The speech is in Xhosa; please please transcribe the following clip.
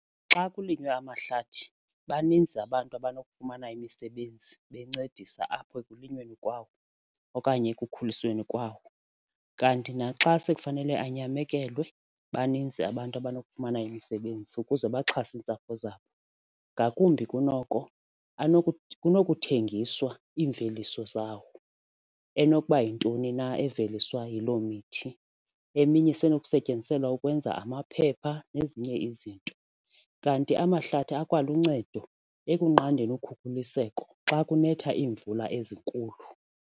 Xa kulinywe amahlathi baninzi abantu abanokufumana imisebenzi bencedisa apho ekulinyweni kwawo okanye ekukhulisweni kwawo. Kanti naxa sikufanele anyamekelwe baninzi abantu abanokufumana imisebenzi ukuze baxhase iintsapho zabo. Ngakumbi kunoko kunokuthengiswa iimveliso zawo enokuba yintoni na eveliswa yiloo mithi eminye isenokusetyenziselwa ukwenza amaphepha nezinye izinto. Kanti amahlathi akwaluncedo ekunqandeni ukhukhuliseko xa kunetha iimvula ezinkulu.